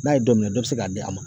N'a ye dɔ minɛ, dɔ bɛ se k'a di a ma.